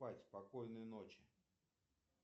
спать спокойной ночи